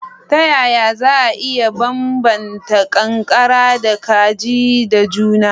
Ta yaya za a iya bambanta ƙanƙara da kaji da juna?